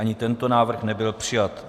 Ani tento návrh nebyl přijat.